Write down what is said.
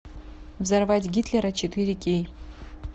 взорвать гитлера четыре кей